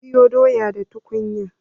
Zan soya doya da tukunya.